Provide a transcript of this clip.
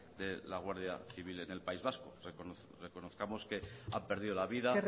de la guardia civil en el país vasco reconozcamos que han perdido la vida